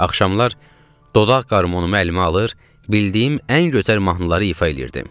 Axşamlar dodaq qarmonumu əlimə alır, bildiyim ən gözəl mahnıları ifa edirdim.